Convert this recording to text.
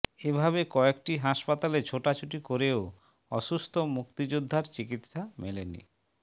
এভাবে কয়েকটি হাসপাতালে ছোটাছুটি করেও অসুস্থ মুক্তিযোদ্ধার চিকিৎসা মেলেনি